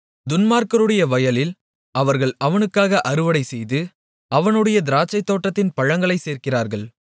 துன்மார்க்கருடைய வயலில் அவர்கள் அவனுக்காக அறுவடைசெய்து அவனுடைய திராட்சைத்தோட்டத்தின் பழங்களைச் சேர்க்கிறார்கள்